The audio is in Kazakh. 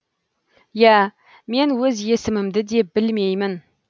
иә мен өз есімімді де білмеймін